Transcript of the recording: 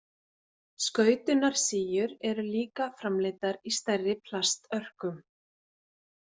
Skautunarsíur eru líka framleiddar í stærri plastörkum.